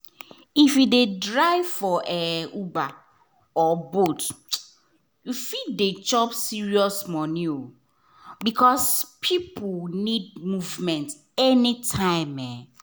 if you dey drive for um uber or bolt you fit dey chop serious money um because people need movement anytime um